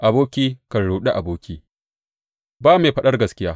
Aboki kan ruɗi aboki, ba mai faɗar gaskiya.